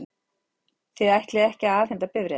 Þið ætlið ekki að afhenda bifreiðina?